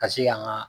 Ka se ka an ka